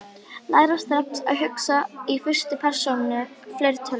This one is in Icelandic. Læra strax að hugsa í fyrstu persónu fleirtölu